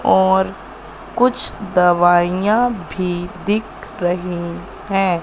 और कुछ दवाइयां भी दिख रही हैं।